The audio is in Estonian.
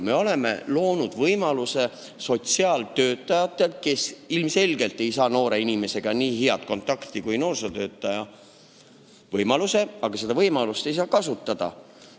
Me oleme loonud võimaluse sotsiaaltöötajatele, kes ilmselgelt ei saa noore inimesega nii head kontakti kui noorsootöötajad, aga nad ei saa seda võimalust kasutada.